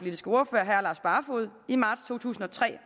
herre lars barfoed i marts to tusind og tre